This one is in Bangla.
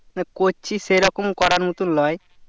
না করছি সেই রকম করার মতো লই